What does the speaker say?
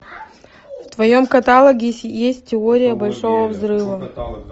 в твоем каталоге есть теория большого взрыва